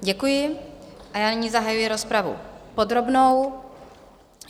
Děkuji a já nyní zahajuji rozpravu podrobnou.